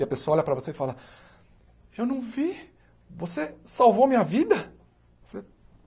E a pessoa olha para você e fala, eu não vi, você salvou minha vida?